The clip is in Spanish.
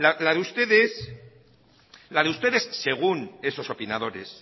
la de ustedes la de ustedes según esos opinadores